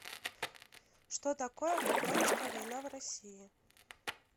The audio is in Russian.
что такое гражданская война в россии